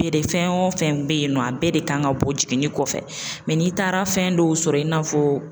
fɛn o fɛn bɛ yen nɔ a bɛɛ de kan ka bɔ jiginni kɔfɛ n'i taara fɛn dɔw sɔrɔ i n'a fɔ.